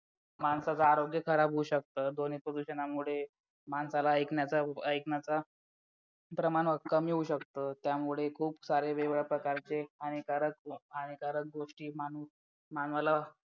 माणसाचा आरोग्य खराब होऊ शकतो ध्वनी प्रदूषणामुळे माणसाला ऐकण्याचा ऐकण्याचा प्रमाण कमी होऊ शकतं त्यामुळे खूप सारे वेगळ्या प्रकारचे हानिकारक हानिकारक गोष्टी मानवाला